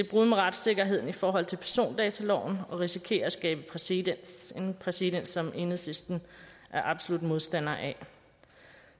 brud med retssikkerheden i forhold til persondataloven og risikerer at skabe præcedens en præcedens som enhedslisten er absolut modstander af